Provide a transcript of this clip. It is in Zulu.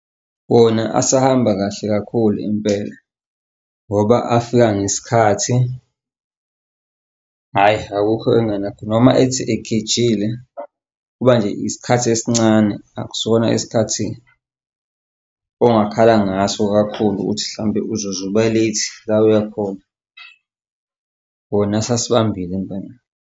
Wona asahamba kahle kakhulu impela ngoba afika ngesikhathi, ayi, akukho engingena noma ethi egejile kuba nje isikhathi esincane, akusona isikhathi ongakhala ngaso kakhulu ukuthi mhlawumpe uzuze uba late la oya khona. Bona basibambile impela.